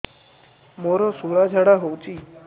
ମୋତେ ଶୂଳା ଝାଡ଼ା ହଉଚି